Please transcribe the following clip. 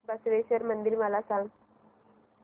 बसवेश्वर मंदिर मला सांग